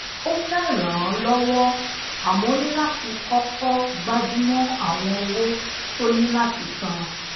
ó fé ràn an lowó àmó ó ní láti koko gbajumo awon owo to ni lati san